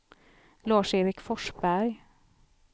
Lars-Erik Forsberg